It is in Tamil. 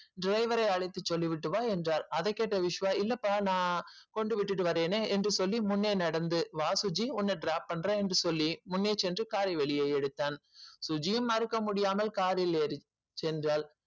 driver யே அழைத்து சொல்லிவிட்டு வா என்றால் அதை கேட்ட விஸ்வ நான் கொண்டு விட்டு வருகிறேனே என்று முன்னே நடந்து வா சுஜி உன்ன drop பண்ற என்று சொல்லி முன்னே சென்று car வெளியே எடுத்தான் சுஜியும் மறக்கமுடியாமல் car ல் ஏறி சென்றால்